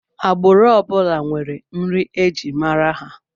Agbụrụ ọ bụla nwere nri e ji mara ha